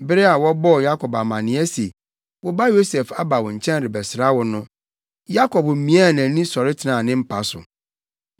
Bere a wɔbɔɔ Yakob amanneɛ se, “Wo ba Yosef aba wo nkyɛn rebɛsra wo” no, Yakob miaa nʼani sɔre tenaa ne mpa so.